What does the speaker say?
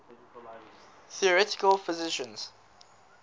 theoretical physicists